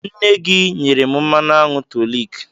Nne gị nyere m mmanụ aṅụ to lick.